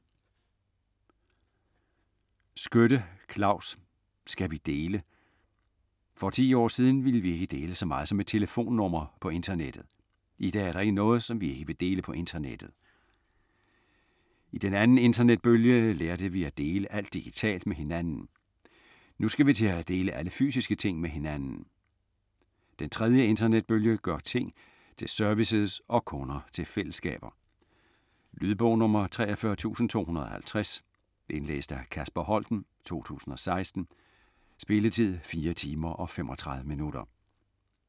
Skytte, Claus: Skal vi dele? For ti år siden ville vi ikke dele så meget som et telefonnummer på internettet. Idag er der ikke noget, som vi ikke vil dele på internettet. I den andeninternetbølge lærte vi at dele alt digitalt med hinanden. Nu skal vi til atdele alle fysiske ting med hinanden. Den tredje internetbølge gør ting tilservices og kunder til fællesskaber. Lydbog 43250 Indlæst af Kasper Holten, 2016. Spilletid: 4 timer, 35 minutter.